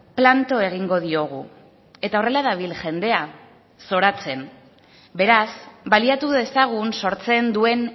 planto egingo diogu eta horrela dabil jendea zoratzen beraz baliatu dezagun sortzen duen